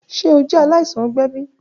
Ṣe o jẹ alaisan ọgbẹ bi?